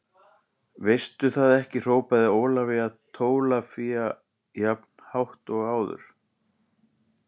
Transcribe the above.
Veistu það ekki hrópaði Ólafía Tólafía jafn hátt og áður.